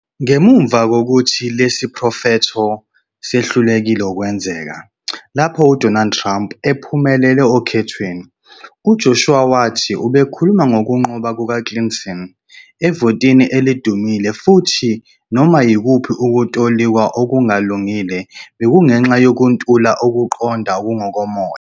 Ngemuva kokuthi lesi siprofetho sehlulekile ukwenzeka, lapho uDonald Trump ephumelela okhethweni, uJoshua wathi ubekhuluma ngokunqoba kukaClinton evotini elidumile futhi noma yikuphi ukutolikwa okungalungile bekungenxa yokuntula "ukuqonda okungokomoya".